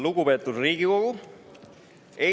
Lugupeetud Riigikogu!